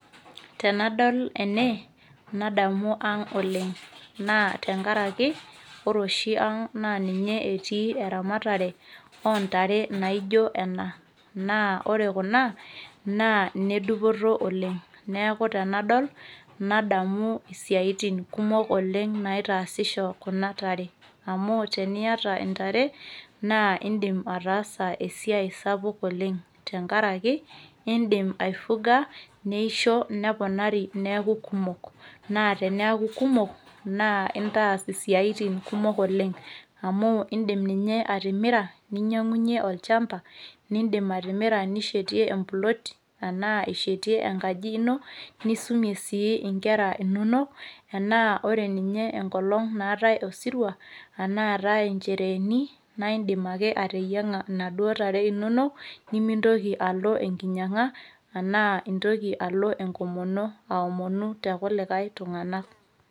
tenadol ene nadamu ang oleng'.naa te nkaraki ore oshi ang naa ninye etii eramatare oo ntare naijo ena, naa ore kuna naa ine dupoto oleng, neeku tenadol nadamu isiatin kumok naitaasisho kuna tare. amau teniata ntare, naa idim atasa esiai sapuk oleng, tenkaraki iidim aifuga, neisho neponari, neku kumok. naa teneeku kumok nintaas isiatin kumok oleng. amu idim ninye atimiraninyiangunye olchampa, nishetie emploti, anaa ishetie enkaji ino nisumie si nkera inonok. enaa ore enkolong naatae osirua enaa eta nchereeni naidim ateyiang inaduo tare inonok nimintoki alo enkinyianga ash enkomono too kuli tunganak.